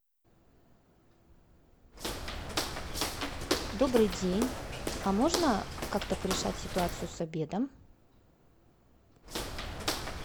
добрый день а можно как то порешать ситуацию с обедом